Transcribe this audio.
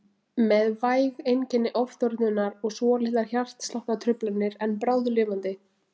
Með væg einkenni ofþornunar og svolitlar hjartsláttartruflanir en bráðlifandi.